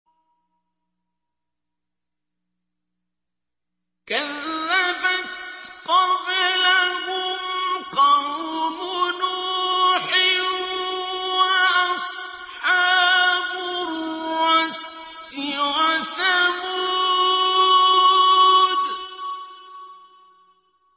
كَذَّبَتْ قَبْلَهُمْ قَوْمُ نُوحٍ وَأَصْحَابُ الرَّسِّ وَثَمُودُ